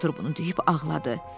Potter bunu deyib ağladı.